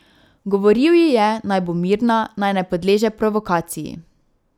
Govoril ji je, naj bo mirna, naj ne podleže provokaciji.